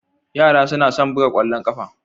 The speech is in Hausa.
Yara suna son buga ƙwallon ƙafa